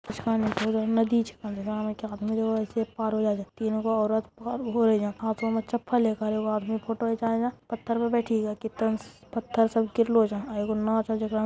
नदी छे अंधेरा में के आदमी लोग अइस ही पार हो जाए | तीन गो औरत पार हो रही है हाथो में चप्पल ले कर | एगो आदमी फोटो घीचाएला पत्थर पर बैठी गया | केतन पत्थर सब गिरलो ओजा | अ एगो नाउ छै जेकरा में --